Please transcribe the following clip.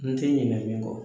N tɛ ɲinɛn min kɔ